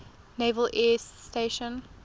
naval air station